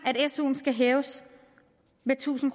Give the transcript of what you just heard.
at suen skal hæves med tusind